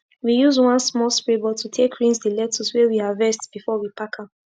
we use one small spray bottle take rinse d lecttuce wey we harvest before we pack am